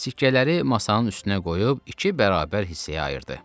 Sikkələri masanın üstünə qoyub iki bərabər hissəyə ayırdı.